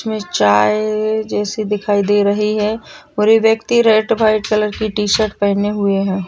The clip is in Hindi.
उसमें चाय जैसी दिखाई दे रही है और ये व्यक्ति रेड व्हाइट कलर की टी-शर्ट पहने हुए हैं।